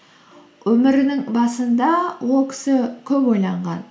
өмірінің басында ол кісі көп ойланған